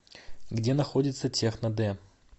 где находится техно д